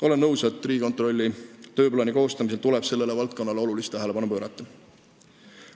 Olen nõus, et Riigikontrolli tööplaani koostamisel tuleb sellele valdkonnale rohkem tähelepanu pöörata.